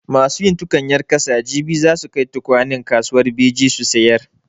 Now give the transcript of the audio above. Masu yin tukunyar ƙasa jibi za su kai tukwanen kasuwar Beji su sayar.